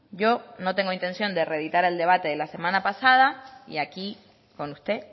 yo no tengo intención de reeditar el debate de la semana pasada y aquí con usted